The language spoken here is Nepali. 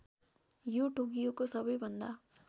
यो टोकियोको सबैभन्दा